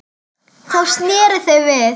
Þá sneru þau við.